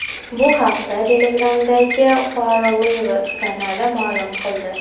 Bu haqda Telegram’dagi FarLives kanali ma’lum qildi .